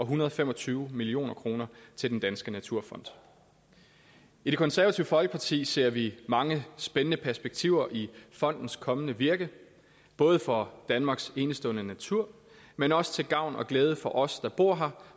hundrede og fem og tyve million kroner til den danske naturfond i det konservative folkeparti ser vi mange spændende perspektiver i fondens kommende virke både for danmarks enestående natur men også til gavn og glæde for os der bor her